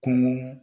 Kunun